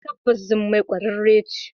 Tabbas jummai kwararre ce.